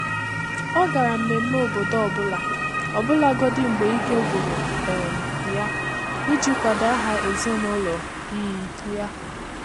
Ọ́ gàrà mmèmmé obodọ ọ bụ́lá, ọbụ́lagọdị́ mgbè íké gwụ̀rụ̀ um yá, ìjí kwàdò áhá èzínụ́lọ um yá.